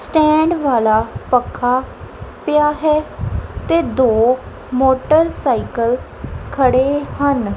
Stand ਵਾਲਾ ਪੱਖਾ ਪਿਆ ਹੈ ਤੇ ਦੋ ਮੋਟਰਸਾਈਕਲ ਖੜੇ ਹਨ।